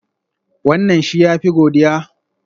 Wannan shi ya fi godiya?